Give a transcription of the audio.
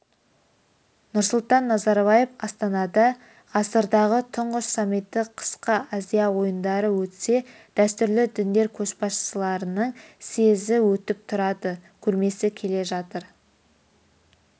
нұрсұлтан назарбаев астанада ғасырдағы тұңғыш саммиті қысқы азия ойындары өтсе дәстүрлі діндер көшбасшыларының съезі өтіп тұрады көрмесі келе жатыр